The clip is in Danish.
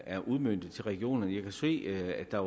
er udmøntet til regionerne jeg kan se at der